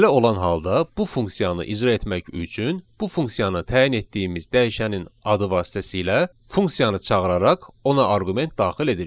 Belə olan halda bu funksiyanı icra etmək üçün bu funksiyanı təyin etdiyimiz dəyişənin adı vasitəsilə funksiyanı çağıraraq ona arqument daxil edirik.